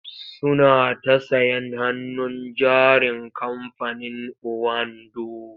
Suna ta sayen hannun jarin kamfanin owando.